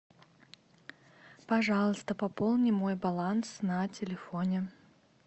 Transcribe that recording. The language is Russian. пожалуйста пополни мой баланс на телефоне